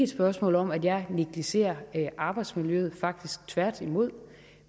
spørgsmål om at jeg negligerer arbejdsmiljøet faktisk tværtimod